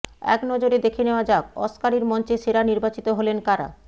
এক নজরে দেখে নেওয়া যাক অস্কারের মঞ্চে সেরা নির্বাচিত হলেন কারা